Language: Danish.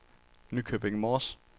Nykøbing Mors